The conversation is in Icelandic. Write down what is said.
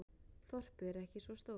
Þorpið er ekki svo stórt.